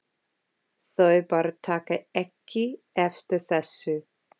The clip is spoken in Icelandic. Þau bara taka ekki eftir þessu.